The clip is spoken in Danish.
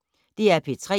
DR P3